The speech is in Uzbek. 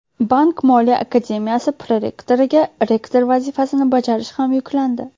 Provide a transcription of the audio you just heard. Bank-moliya akademiyasi prorektoriga rektor vazifasini bajarish ham yuklandi.